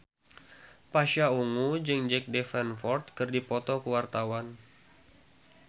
Pasha Ungu jeung Jack Davenport keur dipoto ku wartawan